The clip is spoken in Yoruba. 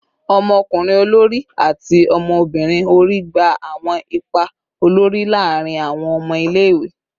Ọmọkunrin olori ati ọmọbirin ori gba awọn ipa olori laarin awọn ọmọ ile-iwe